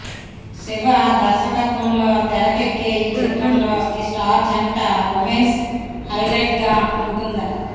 శివ దర్శకత్వంలో తెరకెక్కే ఈ చిత్రంలో ఈ స్టార్ జంట రొమాన్స్ హైలైట్గా ఉంటుందట